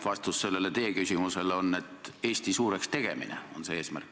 Vastus sellele teie küsimusele on, et Eesti suureks tegemine on see eesmärk.